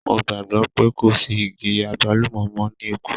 Mo gbàgbọ́ pé kò sí igi àgbálùmọ́ mọ́ ní Èkó.